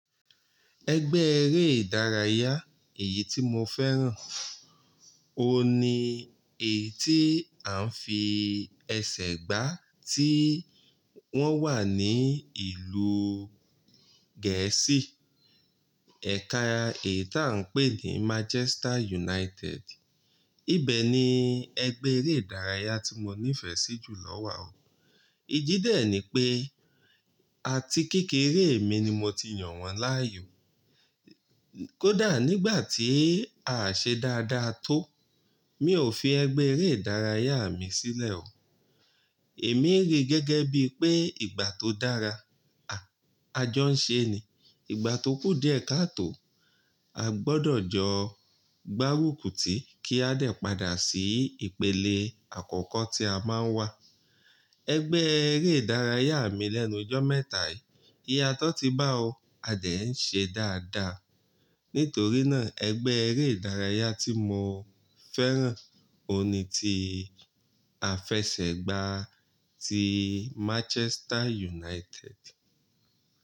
Ẹgbẹ́ eré ìdárayá èyí tí mo fẹ́ràn òun ní èyí tí à ń fi ẹsẹ̀ gbá tí wọ́n wà ní ìlú Gẹ̀ẹ́sì. Ẹ̀ka èyí tí à ń pè ní Manchester United. Ibẹ̀ ni ẹgbẹ́ eré ìdárayá tí mo nífẹ̀ẹ́ sí jù lọ wà o. Idí dẹ̀ ni pé, àti kékeré mi ni mo ti yàn wọ́n láàyò. Kódà nígbà tí à ṣe dáadáa tó, mi ò fi ẹgbẹ́ eré ìdárayá mi sílẹ̀ o. Èmi rí gẹ́gẹ́ bí pé ìgbà tó dára, a jọ ń ṣe ni. Ìgbà tókù díẹ̀ ká tó, a gbọdọ̀ jọ gbárùkùtì kí a dè padà sí ìpele àkọ́kọ́ tí a máa ń wà. Ẹgbẹ́ eré ìdárayá mi lẹ́nu jọ́ mẹ́ta yìí, iyatọ́ ti bá o, a dẹ̀ ń ṣe dáadáa. Nítorí náà ẹgbẹ́ eré ìdárayá tí mo fẹ́ràn òun ní ti à fẹsẹ̀ gbá ti Manchester United.